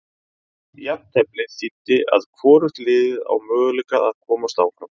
Jafnteflið þýddi að hvorugt liðið á möguleika að komast áfram.